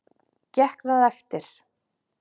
Gekk það eftir.